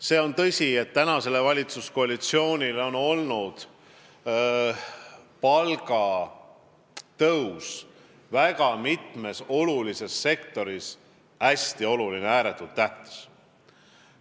See on tõsi, et praegusele valitsuskoalitsioonile on palgatõus väga mitmes olulises sektoris ääretult tähtis olnud.